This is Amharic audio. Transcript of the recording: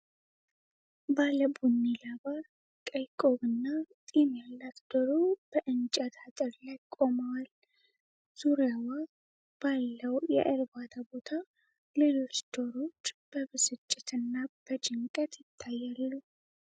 ባለ ቡኒ ላባ፣ ቀይ ቆብና ጢም ያላት ዶሮ በእንጨት አጥር ላይ ቆመዏል። ዙሪያዋ ባለው የእርባታ ቦታ ሌሎች ዶሮዎች በብስጭት እና በጭንቀት ይታያሉ።